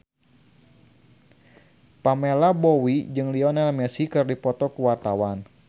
Pamela Bowie jeung Lionel Messi keur dipoto ku wartawan